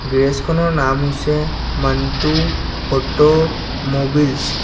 গেৰেজখনৰ নাম হৈছে Manto auto mobiles.